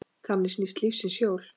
Þannig snýst lífsins hjól.